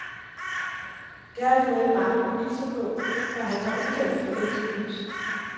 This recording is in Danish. Det har jeg fået mange beviser på, for han har udtalt i flere interviews.